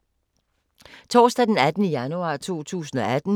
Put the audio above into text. Torsdag d. 18. januar 2018